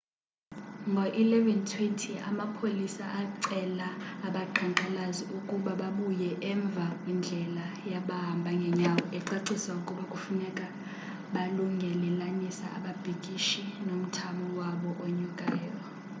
ngo-11:20,amapolisa acela abaqhankqalazi ukuba babuye umva kwindlela yabahamba ngenyawo ecacisa ukuba kufuneka balungelelanisa ababhikishi nomthamo wabo onyukayo